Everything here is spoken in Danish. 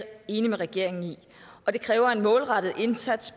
enig med regeringen i og det kræver en målrettet indsats